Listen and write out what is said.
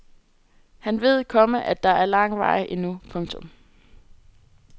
Han ved, komma at der er lang vej endnu. punktum